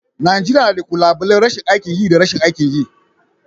Najeriya na da. kalubalen rashin aikin yi da rashin aikin yi.